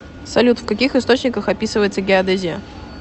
салют в каких источниках описывается геодезия